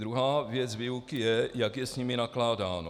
Druhá věc výuky je, jak je s nimi nakládáno.